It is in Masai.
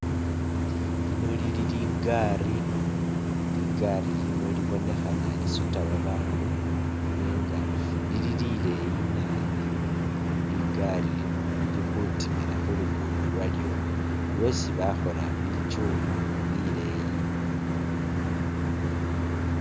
Lino lili ligari, ligari lino libonekhana lisuta babandu nenga lili lileyi nabi ,ligari lino lili khutimula khu lugudo lwalyo lwesi bakhola bichuuma bileyi